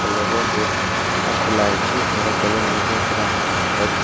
colour ର gate ଟା ଖୋଲା ହେଇଛି ଘର କଲର ମଧ୍ୟ ପୁରା ୱାଇଟ୍ --